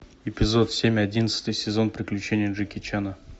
эпизод семь одинадцатый сезон приключения джеки чана